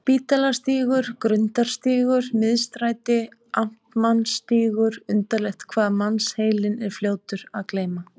Spítalastígur, Grundarstígur, Miðstræti, Amtmannsstígur undarlegt hvað mannsheilinn er fljótur að gleyma.